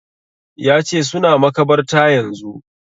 Ya ce suna makabartar yanzu